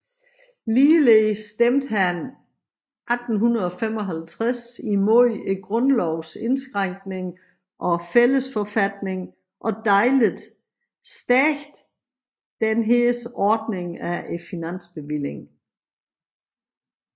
Ligeledes stemte han 1855 imod grundlovens indskrænkning og fællesforfatningen og dadlede stærkt dennes ordning af finansbevillingen